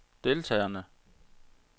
deltagerne